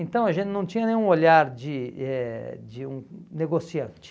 Então, a gente não tinha nenhum olhar de eh de um negociante.